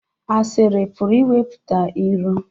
Asịrị pụrụ iweta iro